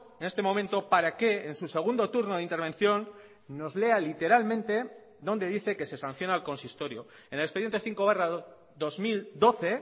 en este momento para que en su segundo turno de intervención nos lea literalmente dónde dice que se sanciona al consistorio en el expediente cinco barra dos mil doce